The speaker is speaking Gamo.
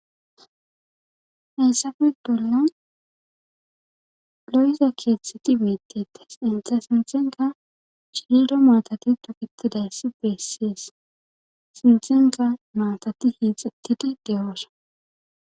heessafe doleyon lo7isa keeththeti miittites intha sinthenka chilido maatati dopitidayssi beessies sinthenka maatati hiixettidi deroosa